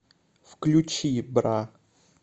включи бра